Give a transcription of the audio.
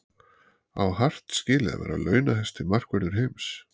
Á Hart skilið að vera launahæsti markvörður heims?